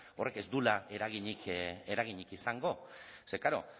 horrek ez duela eraginik izango ze klaro